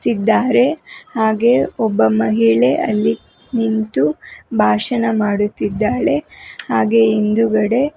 ಇದ್ದಾರೆ ಹಾಗೆ ಒಬ್ಬ ಮಹಿಳೆ ಅಲ್ಲಿ ನಿಂತು ಭಾಷಣ ಮಾಡುತ್ತಿದ್ದಾಳೆ ಹಾಗೆ ಹಿಂದುಗಡೆ --